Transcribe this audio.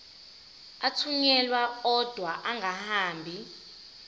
athunyelwa odwa angahambi